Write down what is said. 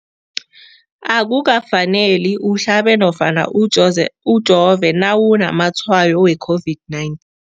Akuka faneli uhlabe nofana ujove nawu namatshayo we-COVID-19.